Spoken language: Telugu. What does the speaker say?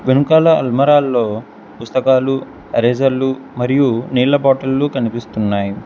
ఎన్కాల అల్మరా ల్లో పుస్తకాలు ఎరేజర్లు మరియు నీళ్ల బాటిల్లు కనిపిస్తున్నాయి.